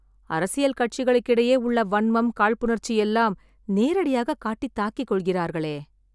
அரசியல் கட்சிகளுக்கிடையே உள்ள வன்மம், காழ்ப்புணர்ச்சி எல்லாம் நேரடியாகக் காட்டி தாக்கிக்கொள்கிறார்களே...